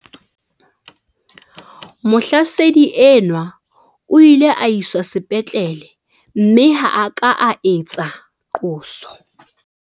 Mohlasedi enwa o ile a iswa sepetlele mme ha a ka a etsa qoso.